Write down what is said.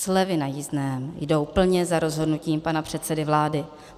Slevy na jízdném jdou plně za rozhodnutím pana předsedy vlády.